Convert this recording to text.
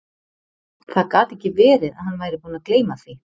Það gat ekki verið að hann væri búinn að gleyma því.